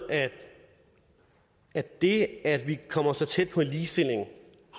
at det at vi kommer så tæt på en ligestilling